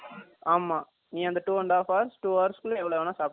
அமா நீ அந்த 2 and half hrs 2 hours குல எவலொ வெனலும் சாப்பிட்டுகலாம்